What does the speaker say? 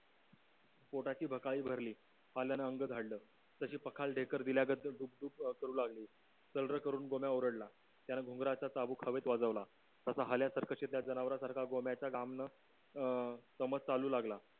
पोटाची भकाली भरली पाल्यान अंग झाडलं तशी पकड ढेकर दिल्यागत सुट करू लागली चाल र करून गोम्या ओरडला त्याने घुंगराचा चाबूक हवेत वाजवला तसा हाल्या सर्कशीतल्या जनवरासारखा गोम्याच्या गामण अं समस्त हलू लागला